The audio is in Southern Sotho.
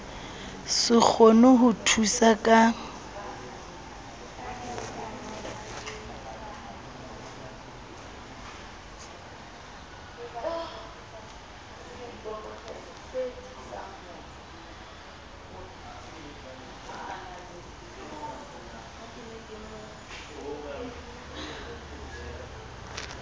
se kgone ho thusa ka